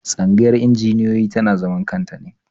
Tsangayar injiniyoyi tana zaman kanta ne.